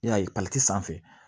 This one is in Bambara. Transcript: I y'a ye sanfɛ